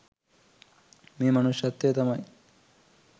මේ මනුෂ්‍යත්වය තමයි